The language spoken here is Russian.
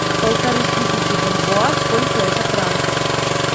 полторы тысячи бальбоа сколько это франков